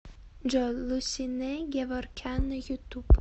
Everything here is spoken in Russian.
джой лусинэ геворкян на ютуб